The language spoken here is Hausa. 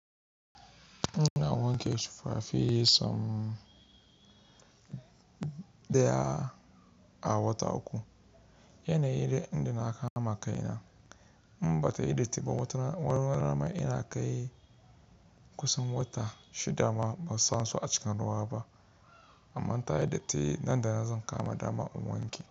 Ina wanke tufafi so ɗaya a wata uku. Yana yi da inda na kama kai na. In ba ta yi datti ba, wani rana ma ina kai kusan wata shida ma ban sa su a cikin ruwa ba amma in ta yi datti nan da zan kama dama in wanke.